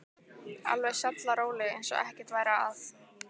Alveg sallaróleg eins og ekkert væri að.